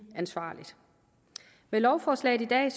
ansvarligt med lovforslaget i dag